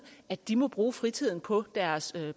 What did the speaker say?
at de må bruge fritiden på deres